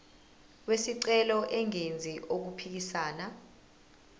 wesicelo engenzi okuphikisana